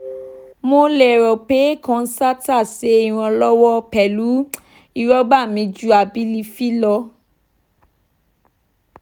mo lero pe concerta se ironlowo pelu irogba mi ju abilify lo